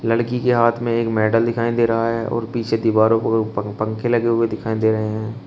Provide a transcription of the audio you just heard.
लड़की के हाथ में एक मेडल दिखाई दे रहा है और पीछे दीवारों पर पं पंखे लगे हुए दिखाई दे रहे हैं।